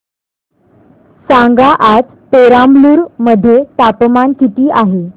सांगा आज पेराम्बलुर मध्ये तापमान किती आहे